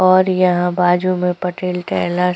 और यहाँ बाजू में पटेल टेलर्स --